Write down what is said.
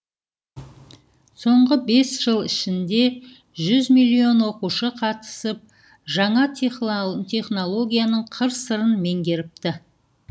соңғы бес жыл ішінде жүз миллион оқушы қатысып жаңа технологияның қыр сырын меңгеріпті